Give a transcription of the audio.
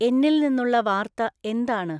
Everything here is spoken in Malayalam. എന്നിൽ നിന്നുള്ള വാർത്ത എന്താണ്?